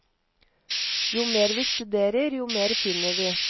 Jo mer vi studerer, jo mer finner vi.